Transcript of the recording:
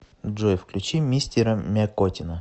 джой включи мистера мякотина